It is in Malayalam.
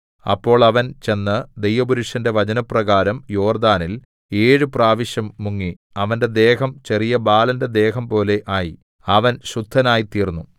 അപ്പോൾ അവൻ ചെന്ന് ദൈവപുരുഷന്റെ വചനപ്രകാരം യോർദ്ദാനിൽ ഏഴു പ്രാവശ്യം മുങ്ങി അവന്റെ ദേഹം ചെറിയ ബാലന്റെ ദേഹം പോലെ ആയി അവൻ ശുദ്ധനായി തീർന്നു